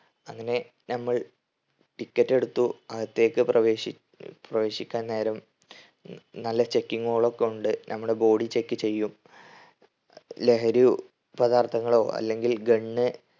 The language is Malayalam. അങ്ങനെ നമ്മൾ ticket എടുത്തു. അകത്തേക്ക് പ്രവേഷിക്ക് പ്രവേശിക്കാൻ നേരം നല്ല checking ഉകളൊക്കെ ഉണ്ട്. നമ്മളെ body check ചെയ്യും ലഹരി പദാർത്ഥങ്ങളോ അല്ലെങ്കിൽ gun